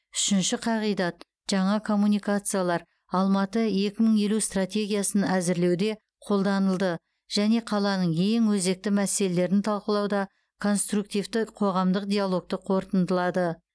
үшінші қағидат жаңа коммуникациялар алматы екі мың елу стратегиясын әзірлеуде қолданылды және қаланың ең өзекті мәселелерін талдауда конструктивті қоғамдық диалогты қорытындылады